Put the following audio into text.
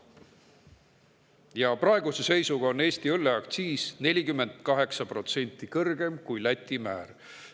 Praeguse seisuga on Eesti õlleaktsiis 48% kõrgem kui Läti määr.